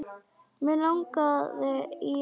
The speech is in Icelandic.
Mig langaði í hana.